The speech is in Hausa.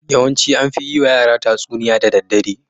Yawanci an fi yiwa yara tatsuniya da daddare.